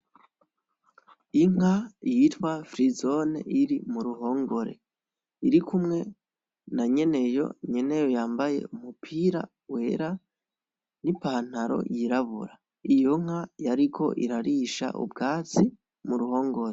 Inka yitwa firizone iri mu ruhongore irikumwe na nyeneyo, nyeneyo yambaye umupira wera n'ipantaro yirabura, iyo nka yariko irarisha ubwatsi mu ruhongore.